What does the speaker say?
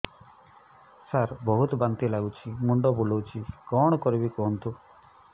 ସାର ବହୁତ ବାନ୍ତି ଲାଗୁଛି ମୁଣ୍ଡ ବୁଲୋଉଛି କଣ କରିବି କୁହନ୍ତୁ